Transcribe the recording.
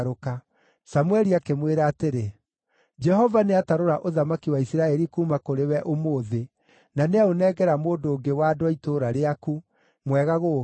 Samũeli akĩmwĩra atĩrĩ, “Jehova nĩatarũra ũthamaki wa Isiraeli kuuma kũrĩ we ũmũthĩ na nĩaũnengera mũndũ ũngĩ wa andũ a itũũra rĩaku, mwega gũgũkĩra.